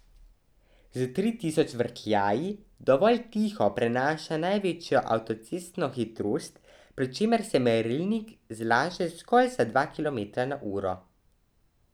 S tri tisoč vrtljaji dovolj tiho prenaša največjo avtocestno hitrost, pri čemer se merilnik zlaže zgolj za dva kilometra na uro.